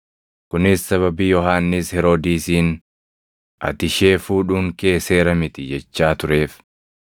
Kunis sababii Yohannis Heroodisiin, “Ati ishee fuudhuun kee seera miti” jechaa tureef.